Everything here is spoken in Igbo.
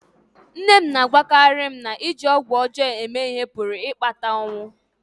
Nne m na-agwakarị m na iji ọgwụ ọjọọ eme ihe pụrụ ịkpata ọnwụ